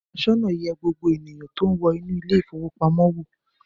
Aṣọ́nà yẹ gbogbo ènìyàn tó ń wọ inú ilé-ìfowópamọ́sí wò.